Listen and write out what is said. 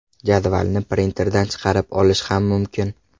Jadvalni printerdan chiqarib olish ham mumkin.